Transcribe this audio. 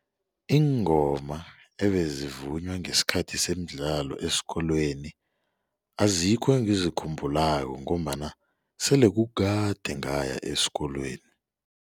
Iingoma ebezivunywa ngesikhathi semidlalo esikolweni azikho engizikhumbulako ngombana sele kukade ngaya esikolweni.